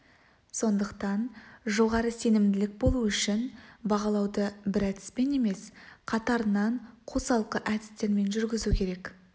сондықтан жоғары сенімділік болу үшін бағалауды бір әдіспен емес қатарынан қосалқы әдістермен жүргізу керек